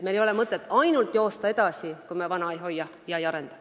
Me ei saa ainult edasi joosta, kui me vana ei hoia ega arenda.